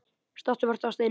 Stattu og vertu að steini